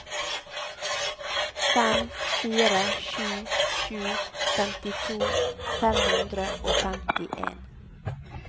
fem fire sju sju femtito fem hundre og femtien